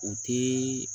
O tɛ